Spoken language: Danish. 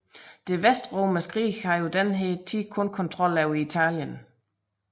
Det Vestromerske rige havde på denne tid kun kontrol over Italien